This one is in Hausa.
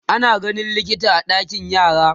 Ina ganin likita a ɗakin yara